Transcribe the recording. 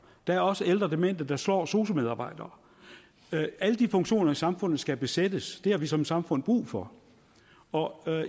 der er også ældre demente der slår sosu medarbejdere alle de funktioner i samfundet skal besættes det har vi som samfund brug for og